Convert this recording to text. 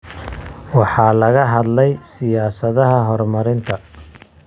Waxaa laga hadlay siyaasadaha horumarinta.